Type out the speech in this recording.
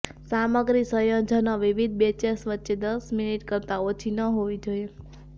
સામગ્રી સંયોજનો વિવિધ બૅચેસ વચ્ચે દસ મિનિટ કરતાં ઓછી ન હોવી જોઈએ